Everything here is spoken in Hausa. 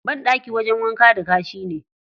Banɗaki wajen wanka da kashi ne.